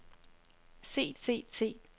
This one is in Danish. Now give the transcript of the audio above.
set set set